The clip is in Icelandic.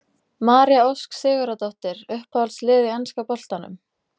María Ósk Sigurðardóttir Uppáhalds lið í enska boltanum?